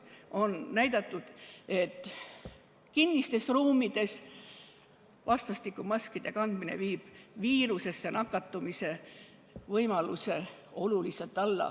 On näidatud, et kinnistes ruumides maskide kandmine vähendab viirusesse nakatumise võimalust oluliselt.